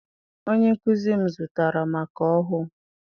Onye nkụzi m zụtara maka ọhụụ.